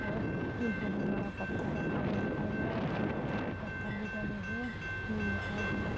और ये बहोत बड़ा पत्थर रखा हुआ दिखाई दे रहा है और छोटे छोटे पत्थर भी डले हुए ये दिखाई दे रहे --